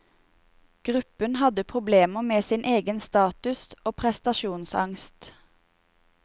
Gruppen hadde problemer med sin egen status og prestasjonsangst.